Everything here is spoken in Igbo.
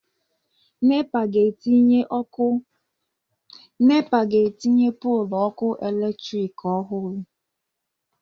Nepa ga-etinye pọlụ ọkụ eletrik ọhụrụ.